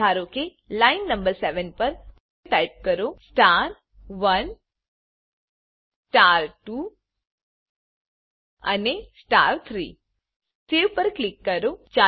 ધારો કે line number 7 પર ટાઈપ કરો star1 star2 અને star3 સેવ પર ક્લિક કરો